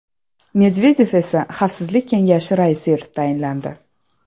Medvedev esa Xavfsizlik kengashi raisi etib tayinlandi.